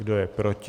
Kdo je proti?